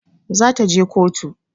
Za ta je kotu